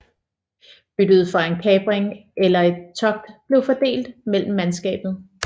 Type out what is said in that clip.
Byttet fra en kapring eller et togt blev fordelt mellem mandskabet